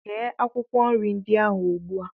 Ghee akwụkwọ nri ndị ahụ ugbu a!